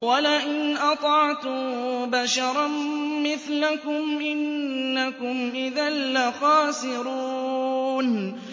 وَلَئِنْ أَطَعْتُم بَشَرًا مِّثْلَكُمْ إِنَّكُمْ إِذًا لَّخَاسِرُونَ